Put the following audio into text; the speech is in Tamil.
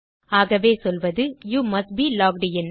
ஆகவே சொல்வது you must be locked in